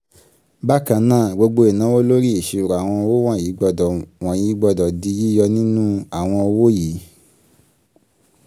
bákan náà gbogbo ìnáwó lórí ìṣirò àwọn owó wọ̀nyí gbọ́dọ̀ wọ̀nyí gbọ́dọ̀ di yíyọ nínú àwọn owó yìí.